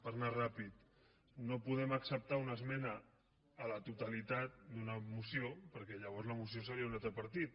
per anar ràpid no podem acceptar una esmena a la totalitat d’una moció perquè llavors la moció seria d’un altre partit